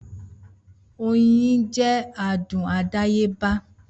Oyin jẹ adùn àdáyébá